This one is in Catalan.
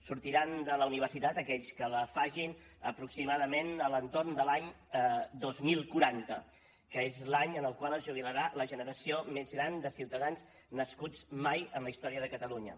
sortiran de la universitat aquells que la facin aproximadament a l’entorn de l’any dos mil quaranta que és l’any en el qual es jubilarà la generació més gran de ciutadans nascuts mai en la història de catalunya